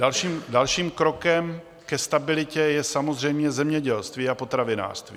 Dalším krokem ke stabilitě je samozřejmě zemědělství a potravinářství.